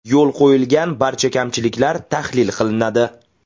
Yo‘l qo‘yilgan barcha kamchiliklar tahlil qilinadi.